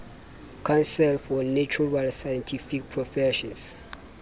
council for natural scientific professions